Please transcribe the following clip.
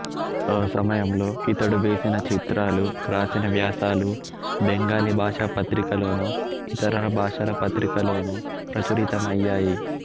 ఆ సమయంలో ఇతడు వేసిన చిత్రాలు వ్రాసిన వ్యాసాలు బెంగాలీ భాషా పత్రికలలోను ఇతర భాషల పత్రికలలోను ప్రచురితమయ్యాయి